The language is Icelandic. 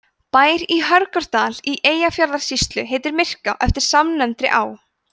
bær í hörgárdal í eyjafjarðarsýslu heitir myrká eftir samnefndri á